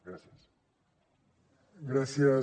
gràcies